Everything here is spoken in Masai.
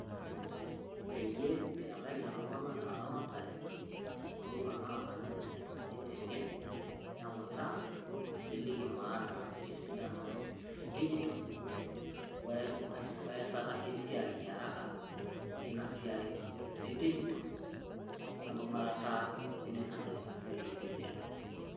peyie itabaki lelotung'anak inaramatare, too muruan naamanya neutaa neliki maana esidano edigitol ,we esata esiai araka tinasiai edigitol wengung'arata sidai naduya ina siai edigitol.